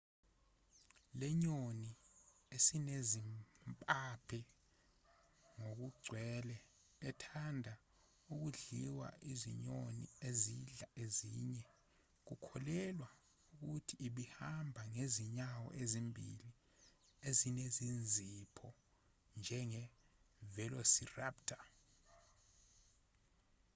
lenyoni esinezimpaphe ngokugcwele ethanda ukudliwa izinyoni ezidla ezinye kukholelwa ukuthi ibihamba ngezinyawo ezimbili ezinezinzipho njenge-velociraptor